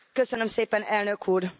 Köszönöm szépen, Elnök Úr!